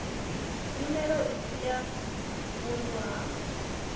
nyimelo isi ya vhunḓu ya